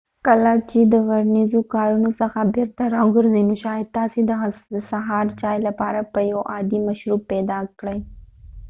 کله چې ورځنیو کارونو څخه بیرته راوګرځۍ نو شاید تاسې د سهار چای لپاره به یو عادی مشروب پیدا کړئ